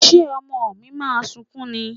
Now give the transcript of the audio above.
Ṣé ọmọ mi máa sunkún ni?